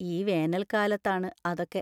ഈ വേനൽകാലത്താണ് അതൊക്കെ!